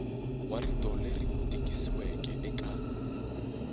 wa rito leri tikisiweke eka